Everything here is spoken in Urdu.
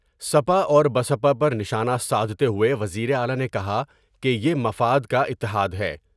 سپا اور بسپا پر نشانہ سادھتے ہوئے وزیر اعلی نے کہا کہ یہ مفاد کا اتحاد ہے ۔